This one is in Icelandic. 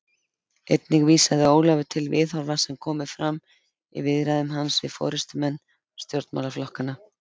Einnig vísaði Ólafur til viðhorfa sem komu fram í viðræðum hans við forystumenn stjórnmálaflokkanna.